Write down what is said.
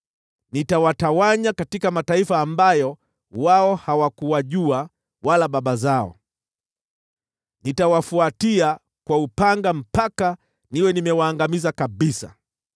Nitawatawanya katika mataifa ambayo wao wala baba zao hawakuwajua, nikiwafuata kwa upanga mpaka niwe nimewaangamiza kabisa.”